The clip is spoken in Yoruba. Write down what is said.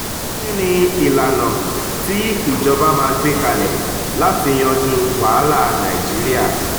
kí ni àwọn ìlànà tí ìjọba máa gbé kalẹ̀ láti yanjú wàhálà nàìjíríà?